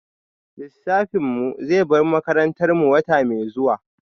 Lissafin mu zai bar makarantar mu wata mai zuwa